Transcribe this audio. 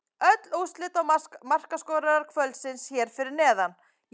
Öll úrslit og markaskorarar kvöldsins hér fyrir neðan: